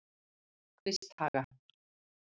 Kvisthaga